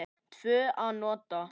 Tvö að nóttu